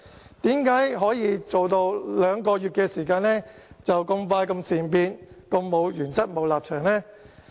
為甚麼可以在兩個月時間內便這麼善變，這麼沒有原則和立場呢？